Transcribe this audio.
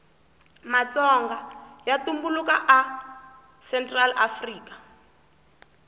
matsonga yatumbulaka a central afrika